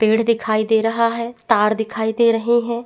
पेड़ दिखाई दे रहा है तार दिखाई दे रहे है।